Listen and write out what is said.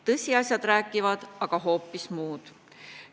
Tõsiasjad räägivad aga hoopis muud.